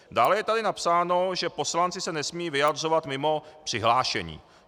Dále je tady napsáno, že poslanci se nesmějí vyjadřovat mimo přihlášení.